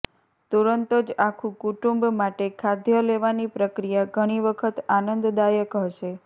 તુરંત જ આખું કુટુંબ માટે ખાદ્ય લેવાની પ્રક્રિયા ઘણી વખત આનંદદાયક હશે